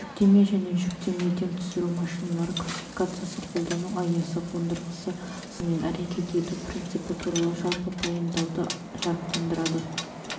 жүктеме және жүктемеден түсіру машиналары классификациясы қолдану аясы қондырғысы сызбасы мен әрекет ету принципі туралы жалпы пайымдауды жарықтандырады